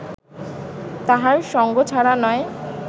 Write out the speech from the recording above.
তাহার সঙ্গছাড়া নয়